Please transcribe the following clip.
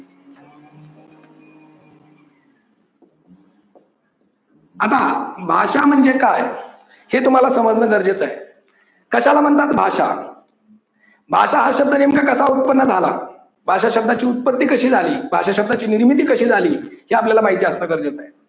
आता भाषा म्हणजे काय हे तुम्हाला समजणं गरजेच हाय. कशाला म्हणतात भाषा. भाषा हा शब्द नेमका कसा उत्पन्न झाला? भाषा शब्दाची उत्पत्ती कशी झाली? भाषा शब्दाची निर्मिती कशी झाली? हे आपल्याला माहिती असणे गरजेचे आहे.